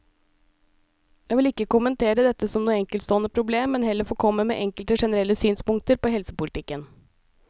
Jeg vil ikke kommentere dette som noe enkeltstående problem, men heller få komme med enkelte generelle synspunkter på helsepolitikken.